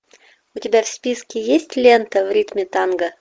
у тебя в списке есть лента в ритме танго